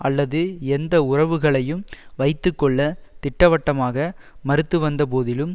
அல்லது எந்த உறவுகளையும் வைத்து கொள்ள திட்டவட்டமாக மறுத்து வந்த போதிலும்